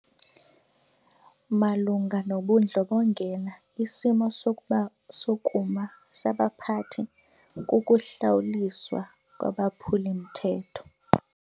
Malunga nobundlobongela isimo sokuma sabaphathi kukuhlawuliswa kwabaphuli-mthetho.